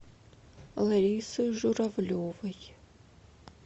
ларисы журавлевой